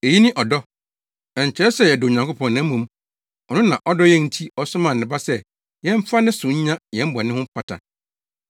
Eyi ne ɔdɔ. Ɛnkyerɛ sɛ yɛdɔ Onyankopɔn, na mmom, ɔno na ɔdɔ yɛn nti ɔsomaa ne Ba sɛ yɛmfa ne so nya yɛn bɔne ho mpata.